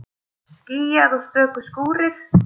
Skýjað og stöku skúrir